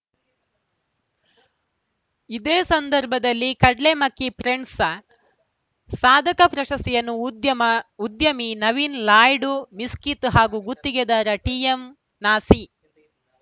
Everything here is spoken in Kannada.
ಇದೇ ಸಂದರ್ಭದಲ್ಲಿ ಕಡ್ಲೇಮಕ್ಕಿ ಫ್ರೆಂಡ್ಸ್‌ ಸಾಧಕ ಪ್ರಶಸ್ತಿಯನ್ನು ಉದ್ಯಮ ಉದ್ಯಮಿ ನವೀನ್‌ ಲಾಯ್ಡ್‌ ಮಿಸ್ಕಿತ್‌ ಹಾಗೂ ಗುತ್ತಿಗೆದಾರ ಟಿಎಂನಾಸೀ